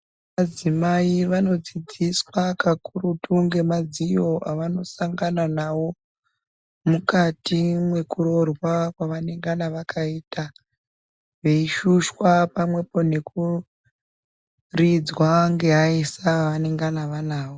Madzimai vanodzidziswa kakurutu ngemadziyo avanosangana nawo mukatiwekurojwa kwavanengana vakaita vaishushwa pamwepo nekuridzwa ngevaisa vavanenge vanavo.